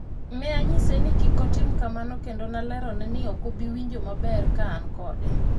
ne anyise ni kik otim kamano kendo nalerone ni ok abi winjo maber kaan kode